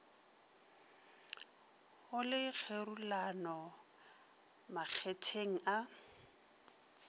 go le kgerulano makgetheng a